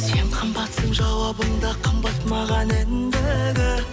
сен қымбатсың жауабың да қымбат маған ендігі